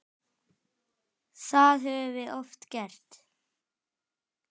Það höfum við oft gert.